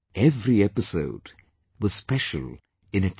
Every episode was special in itself